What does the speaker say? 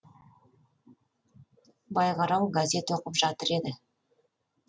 байғарау газет оқып жатыр еді